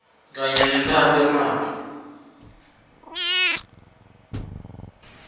kanye nentalo yemali